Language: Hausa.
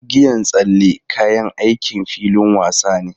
Igiyan tsalle kayan aikin filin wasa ne.